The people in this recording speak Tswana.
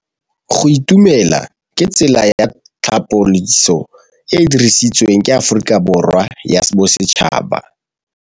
Go itumela ke tsela ya tlhapolisô e e dirisitsweng ke Aforika Borwa ya Bosetšhaba.